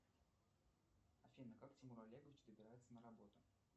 афина как тимур олегович добирается на работу